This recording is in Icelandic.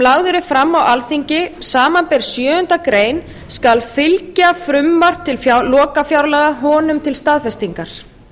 lagður er fram á alþingi samanber sjöundu grein skal fylgja frumvarp til lokafjárlaga honum til staðfestingar